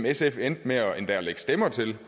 sf er endt med endda at lægge stemmer til